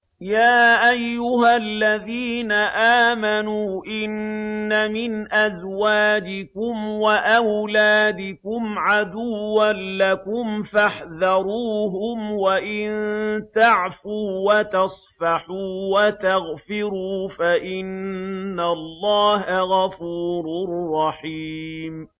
يَا أَيُّهَا الَّذِينَ آمَنُوا إِنَّ مِنْ أَزْوَاجِكُمْ وَأَوْلَادِكُمْ عَدُوًّا لَّكُمْ فَاحْذَرُوهُمْ ۚ وَإِن تَعْفُوا وَتَصْفَحُوا وَتَغْفِرُوا فَإِنَّ اللَّهَ غَفُورٌ رَّحِيمٌ